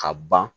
Ka ban